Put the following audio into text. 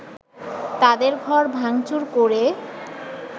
তাদের ঘর ভাংচুর করে